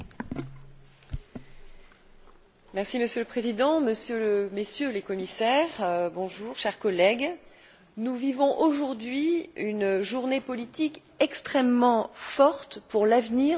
Monsieur le Président, Messieurs les Commissaires, chers collègues, nous vivons aujourd'hui une journée politique extrêmement forte pour l'avenir de la politique régionale de l'Union européenne.